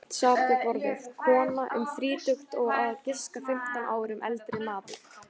Tvennt sat við borðið, kona um þrítugt og á að giska fimmtán árum eldri maður.